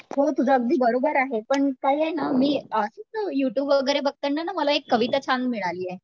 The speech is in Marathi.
हो तुझं अगदी बरोबर आहे पण काय ना मी युटुब वगैरे बघतांना मला एक कविता छान मिळालीये